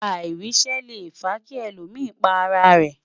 airise Le fa ki èlò mí pá ará rè